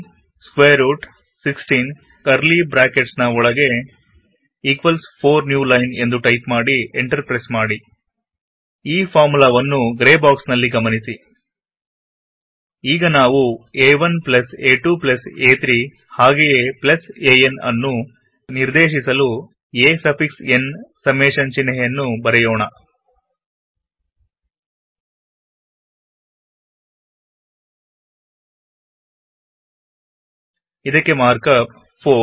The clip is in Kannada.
ಸ್ಕ್ರ್ಟ್ 16 ಕರ್ಲೀ ಬ್ರಾಕೆಟ್ಸ್ ನ ಒಳಗೆ ಈಕ್ವಲ್ಸ್ 4 ನ್ಯೂ ಲೈನ್ಎಂದು ಟೈಪ್ ಮಾಡಿ ಎಂಟರ್ ಪ್ರೆಸ್ಸ್ ಮಾಡಿ ಈ ಫಾರ್ಮುಲಾವನ್ನು ಗ್ರೇ ಬಾಕ್ಸ್ನಲ್ಲಿ ಗಮನಿಸಿ ಈಗ ನಾವು a1a2a3 ಹಾಗೆಯೆan ಅನ್ನು ನಿರ್ದೇಶಿಸಲು a ಸಫಿಕ್ಸ್ n ಸಮ್ಮೇಶನ್ ಚಿಹ್ನೆಯನ್ನು ಬರೆಯೋಣ ಇದಕ್ಕೆ ಮಾರ್ಕಪ್160 4